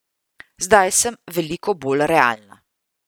Zdaj sem veliko bolj realna.